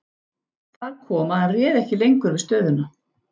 Þar kom að hann réð ekki lengur við stöðuna.